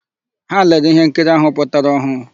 Ha lere íhénkiri áhụ̀ pụtara ọhụụ.